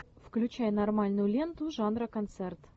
включай нормальную ленту жанра концерт